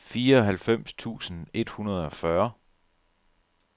fireoghalvfems tusind et hundrede og fyrre